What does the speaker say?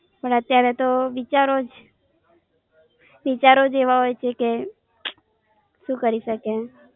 પણ અત્યારે તો વિચારો જ વિચારો જ એવા હોઈ છે કે સુ કરી શકે